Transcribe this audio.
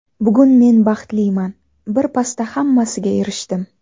Bugun men baxtliman, bir pasda hammasiga erishdim.